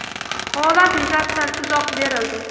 Holat yuzasidan izoh berildi.